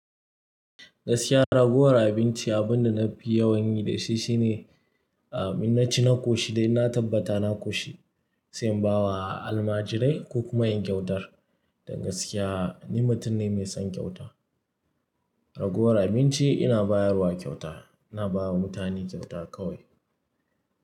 Gaskiya ragowar abinci abunda nafi yawan yi da shi shine, ah in na ci na ƙoshi dai na tabbata na ƙoshi, sai in ba wa almajirai ko kuma in kyautar. Dan gaskiya ni mutum ne mai son kyauta. Ragowar abinci ina bayarwa kyauta, ina ba wa mutane kyauta kawai.